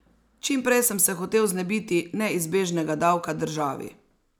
Čim prej sem se hotel znebiti neizbežnega davka državi.